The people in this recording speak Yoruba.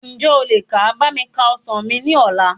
Ǹjẹ́ o lè ka bá mi ka ọsàn mi ní ọ̀la?